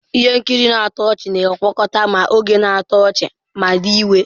Ihe nkiri na-atọ ọchị-ọdachi na-agwakọta ma oge na-atọ ọchị ma dị egwu.